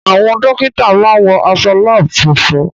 Àwọn dọ́kítà máa ń wọ aṣọ láàbù funfun.